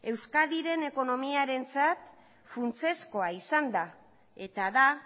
euskadiren ekonomiarentzat funtsezkoa izan da eta da